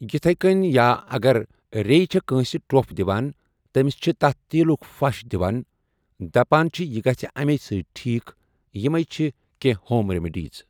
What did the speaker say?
یِتھے کٔنۍ یا اگر ریٚیہِ چھِ کٲنٛسہِ ٹۄپھ دِوان تٔمِس چھِ تتھ تیٖلُک پھش دِوان دپان چھ یہِ گژھِ امے سۭتۍ ٹھیٖک یمٕے چھِ کینٛہہ ہوم ریمڈیٖز۔